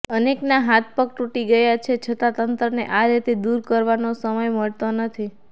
અનેકના હાથ પગ તૂટી ગયા છે છતાં તંત્રને આ રેતી દૂર કરવાનો સમય મળતો નથી